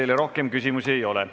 Teile rohkem küsimusi ei ole.